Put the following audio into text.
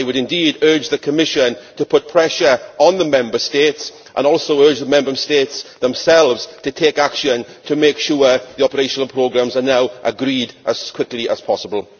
I would indeed urge the Commission to put pressure on the Member States and also urge the Member States themselves to take action to make sure the operational programmes are now agreed as quickly as possible.